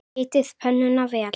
Hitið pönnuna vel.